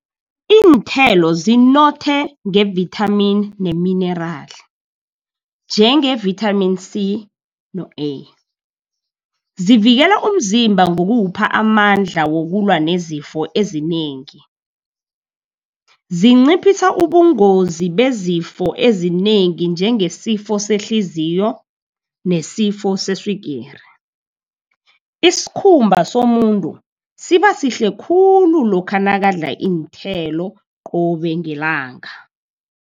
Iinthelo zinothe nge-vitamin ne-minerali, njenge-vitamin C no A. Zivikela umzimba ngokuwupha amandla wokulwa nezifo ezinengi. Zinciphisa ubungozi bezifo ezinengi, njengesifo sehliziyo, nesifo seswigiri. Iskhumba somuntu sibasihle khulu lokha nakadla iinthelo qobe ngelanga.